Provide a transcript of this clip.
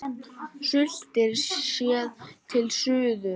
Sultir, séð til suðurs.